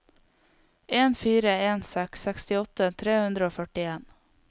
en fire en seks sekstiåtte tre hundre og førtien